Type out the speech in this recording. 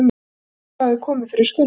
Hafði eitthvað komið fyrir Skunda?